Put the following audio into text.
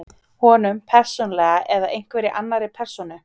Honum, persónulega, eða einhverri annarri persónu?